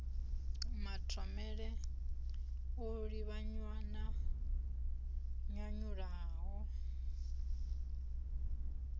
mathomele o livhanywa na nyanyulaho